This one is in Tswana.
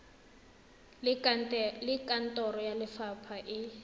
le kantoro ya lefapha e